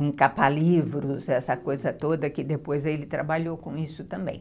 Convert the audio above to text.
encapar livros, essa coisa toda, que depois ele trabalhou com isso também.